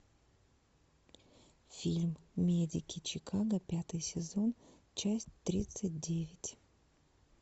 фильм медики чикаго пятый сезон часть тридцать девять